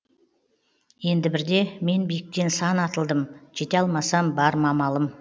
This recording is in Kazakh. енді бірде мен биіктен сан атылдым жете алмасам бар ма амалым